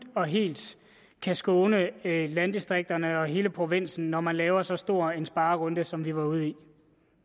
og helt kan skåne landdistrikterne og hele provinsen når man laver så stor en sparerunde som vi har været ude i